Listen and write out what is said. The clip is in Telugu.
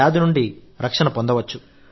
వ్యాధి నుండి రక్షణ పొందవచ్చు